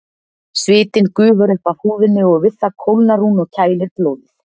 Svitinn gufar upp af húðinni og við það kólnar hún og kælir blóðið.